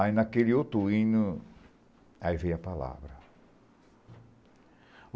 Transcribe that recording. Aí naquele outro hino, aí veio a palavra.